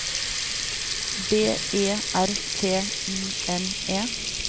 B E R T I N E